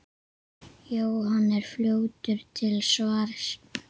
Jóhann er fljótur til svars.